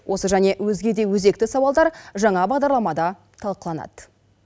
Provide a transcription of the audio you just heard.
осы және өзге де өзекті сауалдар жаңа бағдарламада талқыланады